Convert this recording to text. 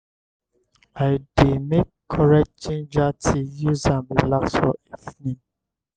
i dey make correct ginger tea use am relax for evening.